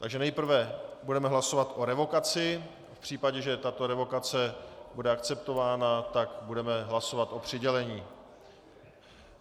Takže nejprve budeme hlasovat o revokaci, v případě, že tato revokace bude akceptována, tak budeme hlasovat o přidělení.